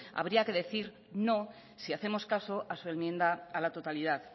habría que decir no si hacemos caso a su enmienda a la totalidad